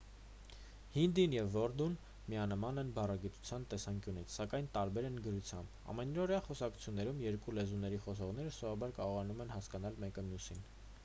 հինդին և ուրդուն միանման են բառագիտության տեսանկյունից սակայն տարբեր են գրությամբ ամենօրյա խոսակցություններում երկու լեզուների խոսողները սովորաբար կարողանում են հասկանալ մեկը մյուսին